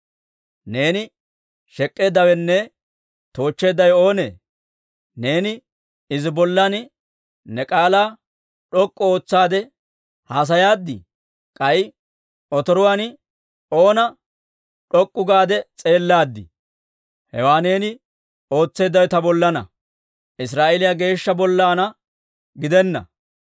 « ‹Neeni shek'k'eeddawenne toochcheeddawe oonee? Neeni izi bollan ne k'aalaa d'ok'k'u ootsaade haasayaaddii? K'ay otoruwaan oona d'ok'k'u gaade s'eellaadii? Hewaa neeni ootseeddawe ta bollana, Israa'eeliyaa Geeshsha bollana gidennee!